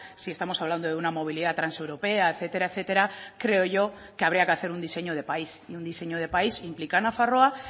si estamos hablando de una movilidad transeuropea etcétera etcétera creo yo que habría que hacer un diseño de país y un diseño de país implica a nafarroa